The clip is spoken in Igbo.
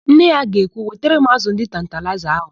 Nne ya ga-ekwu, "wetara m ázụ̀ ndị tantalaịza ahụ"!